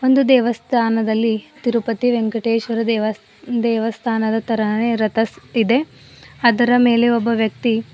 ಒಂದು ದೇವಸ್ಥಾನದಲ್ಲಿ ತಿರುಪತಿ ವೆಂಕಟೇಶ್ವರ ದೇವ ದೇವಸ್ಥಾನದ ತರಹ ರತ ಸ್ ಇದೆ ಅದರ ಮೇಲೆ ಒಬ್ಬ ವ್ಯಕ್ತಿ--